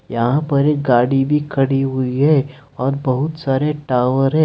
यहां पर एक गाड़ी भी खड़ी हुई है और बहुत सारे टावर है।